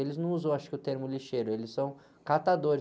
Eles não usam, acho que o termo lixeiro, eles são catadores.